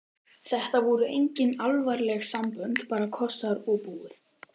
Þetta voru engin alvarleg sambönd, bara kossar og búið.